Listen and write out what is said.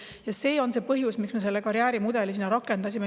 Ja see on see põhjus, miks me seda karjäärimudelit rakendame.